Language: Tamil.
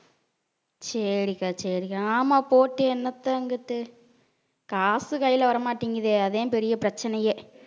சரி அக்கா சரி அக்கா ஆமா போட்டு என்னத்த அங்குட்டு காசு கையில வரமாட்டேங்குதே அதான் பெரிய பிரச்சனையே